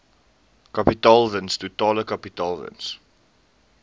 kapitaalwins totale kapitaalwins